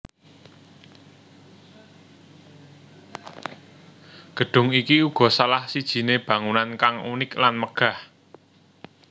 Gedung iki uga salah sijine bangunan kang unik lan megah